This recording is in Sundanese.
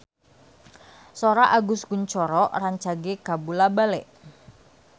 Sora Agus Kuncoro rancage kabula-bale